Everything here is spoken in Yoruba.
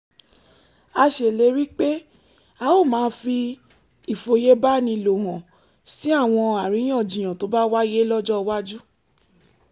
a ṣèlérí pé a ó máa fi ìfòyebánilò hàn sí àwọn àríyànjiyàn tó bá wáyé lọ́jọ́ iwájú